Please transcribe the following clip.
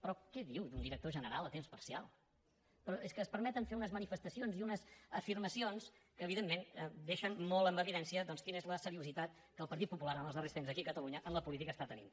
però què diu d’un director general a temps parcial però és que es permeten fer unes manifestacions i unes afirmacions que evidentment deixen molt en evidència doncs quina és la seriositat que el partit popular en els darrers temps aquí a catalunya en la política està tenint